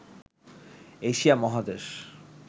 Asia মহাদেশ